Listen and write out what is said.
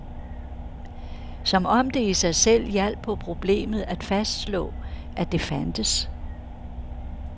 Som om det i sig selv hjalp på problemet at fastslå, at det fandtes.